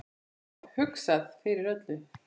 Það var hugsað fyrir öllu.